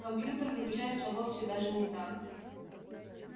компьютер выключается вовсе даже не так